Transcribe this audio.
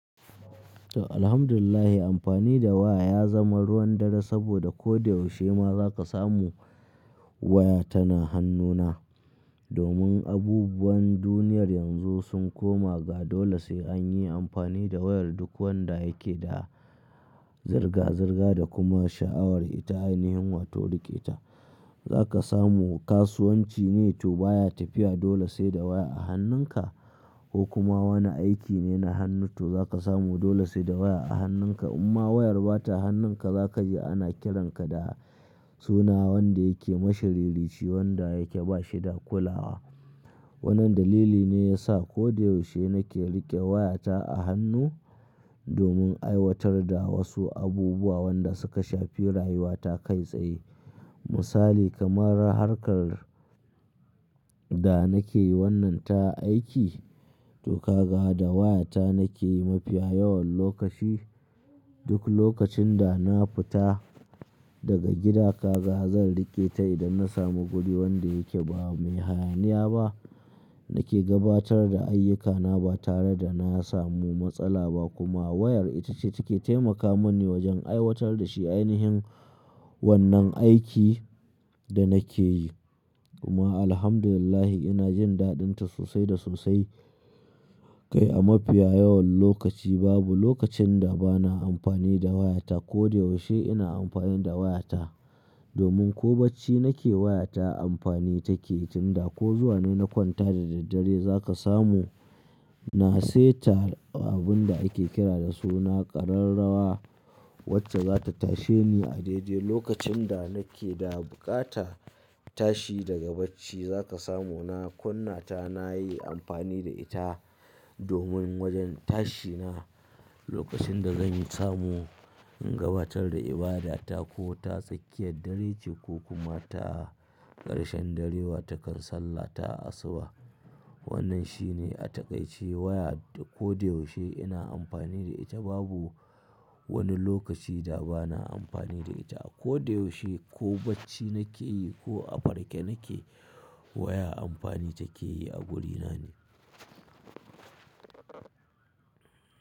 To alhamdulillah amfani da waya ya zama ruwan dare saboda ko da yaushe ma za ka samu waya tana hannuna. Domin abubuwan duniyar yanzu sun koma ga dole sai an yi amfani da wayar duk wanda yake da zirga-zirga da kuma sha'awar ita ainihin wato rike ta. Za ka samu kasuwanci ne to baya tafiya dole sai da waya a hannunka ko kuma wani aiki ne na hannu to za ka samu dole sai da waya a hannunka. Amma wayar bata hannunka za ka ji ana kiranka da suna wanda yake mashi ririci wanda yake bashi dakulawa. Wannan dalili ne ya sa ko da yaushe nake rike wayata a hannu domin aiwatar da wasu abubuwa wan da suka shafi rayuwata kai tsaye. Misali kamar harkar da nake yi wannan ta aiki to kaga da wayata nake yi mafiya yawan lokaci. Duk lokacin da na fita daga gida kaga zan rike ta idan na samu guri wanda yake ba mai hayaniya ba. Nake gabatar da ayyukana ba tare da na samu matsala ba kuma wayar ita ce take taimaka mani wajen aiwatar da shi ainihin wannan aiki da nake yi. Kuma alhamdulillah ina jin dadin ta sosai da sosai. Kai a mafiya yawan lokaci babu lokacin da ba na amfani da wayata ko da yaushe ina amfani da wayata. Domin ko bacci nake wayata amfani take tunda ko zuwa na na kwanta da daddare za ka samu na seta abun da ake kira da suna ƙararrawa wacce za ta tashe ni a daidai lokacin da nake da buƙata tashi daga bacci za ka samu na kunna ta na yi amfani da ita domin wajen tashi na. Lokacin da zan samu in gabatar da ibadata ko ta tsakiyar dare ce ko kuma ta ƙarshen dare wa takan sallah ta asuba. Wannan shi ne a takaice waya ko da yaushe ina amfani da ita babu wani lokaci da ba na amfani da ita. Ko da yaushe ko bacci nake yi ko a farke nake waya amfani take yi a wurina ne.